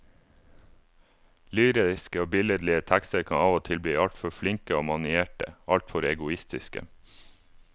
Lyriske og billedlige tekster kan av og til bli altfor flinke og manierte, altfor egoistiske.